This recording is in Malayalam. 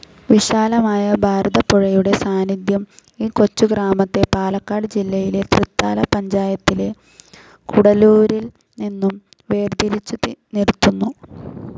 വിശാലമായ ഭാരതപ്പുഴയുടെ സാന്നിദ്ധ്യം ഈ കൊച്ചു ഗ്രാമത്തെ പാലക്കാട് ജില്ലയിലെ തൃത്താല പഞ്ചായത്തിലെ കൂടല്ലൂരിൽ നിന്നും വേർതിരിച്ചു നിർത്തുന്നു.